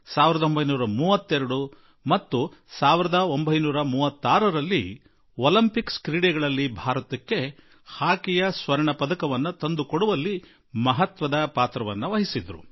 ಅವರು 1928ರಲ್ಲಿ 1932ರಲ್ಲಿ 1935ರಲ್ಲಿ ಒಲಿಂಪಿಕ್ಸ್ ಕ್ರೀಡೆಗಳಲ್ಲಿ ಹಾಕಿಯಲ್ಲಿ ಚಿನ್ನದ ಪದಕ ತಂದುಕೊಡುವಲ್ಲಿ ಮಹತ್ವಪೂರ್ಣ ಪಾತ್ರ ವಹಿಸಿದ್ದರು